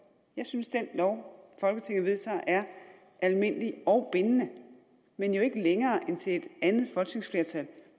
jeg synes at den lov folketinget vedtager er almindelig og bindende men jo ikke længere end til et andet folketingsflertal